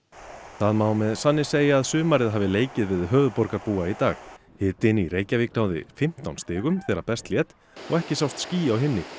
það má með sanni segja að sumarið hafi leikið við höfuðborgarbúa í dag hitinn í Reykjavík náði fimmtán stigum þegar best lét og ekki sást ský á himni